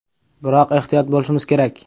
Biroq ehtiyot bo‘lishimiz kerak.